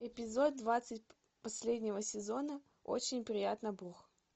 эпизод двадцать последнего сезона очень приятно бог